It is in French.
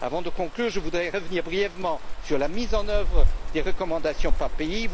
Avant de conclure, je voudrais revenir brièvement sur la mise en œuvre des recommandations par pays.